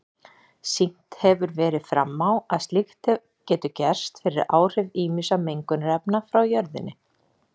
Sýnt hefur verið fram á að slíkt getur gerst fyrir áhrif ýmissa mengunarefna frá jörðinni.